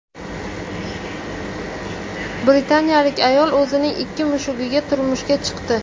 Britanliyalik ayol o‘zining ikki mushugiga turmushga chiqdi.